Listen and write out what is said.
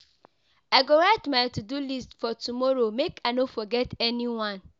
I go write my to-do list for tomorrow make I no forget anyone.